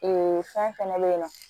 fɛn fɛnɛ bɛ yen nɔ